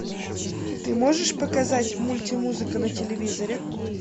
ты можешь показать мультимузыка на телевизоре